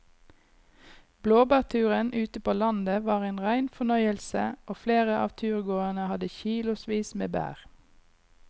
Blåbærturen ute på landet var en rein fornøyelse og flere av turgåerene hadde kilosvis med bær.